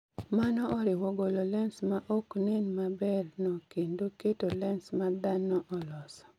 Mano oriwo golo lens ma ok nen maber no kendo keto lens ma dhano oloso